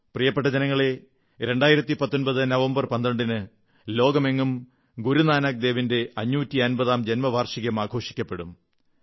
പ്രിയപ്പെട്ട ജനങ്ങളേ 2019 നവംബർ 12 ന് ലോകമെങ്ങും ഗുരുനാനക് ദേവിന്റെ 550 ാം ജന്മവാർഷികം ആഘോഷിക്കപ്പെടും